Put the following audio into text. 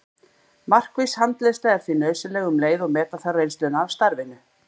Markviss handleiðsla er því nauðsynleg um leið og meta þarf reynsluna af starfinu.